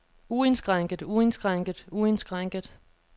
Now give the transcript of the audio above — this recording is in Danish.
uindskrænket uindskrænket uindskrænket